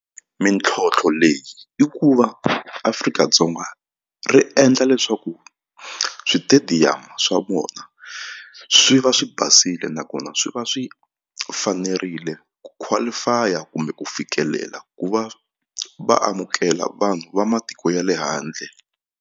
Mintlhotlho leyi i ku va Afrika-Dzonga ri endla leswaku switediyamu swa vona swi va swi basile nakona swi va swi fanerile ku qualify-a kumbe ku fikelela ku va va amukela vanhu va matiko ya le handle.